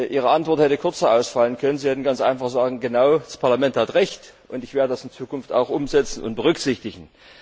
Ihre Antwort hätte kürzer ausfallen können. Sie hätten ganz einfach sagen können Genau, das Parlament hat Recht, und ich werde das in Zukunft auch umsetzen und berücksichtigen.